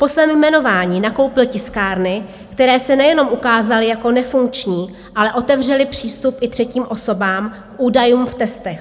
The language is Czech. Po svém jmenování nakoupil tiskárny, které se nejenom ukázaly jako nefunkční, ale otevřely přístup i třetím osobám k údajům v testech.